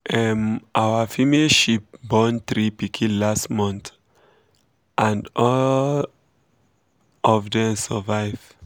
um our female sheep born three pikin last month um and and all um of dem survive.